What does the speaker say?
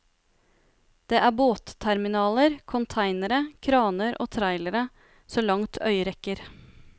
Det er båtterminaler, containere, kraner og trailere så langt øyet rekker.